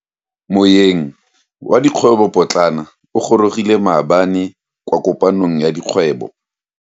Moeng wa dikgwebo potlana o gorogile maabane kwa kopanong ya dikgwebo.